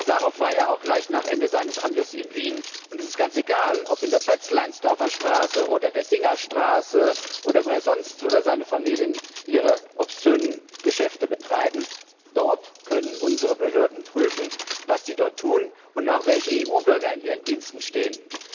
Asarow war ja auch gleich nach Ende seines Amtes in Wien, und es ist ganz egal, ob in der Pötzleinsdorfer Straße oder der Singerstraße oder wo sonst er oder seine Familie ihre obszönen Geschäfte betreiben, dort können unsere Behörden prüfen, was sie dort tun und auch welche EU Bürger in ihren Diensten stehen.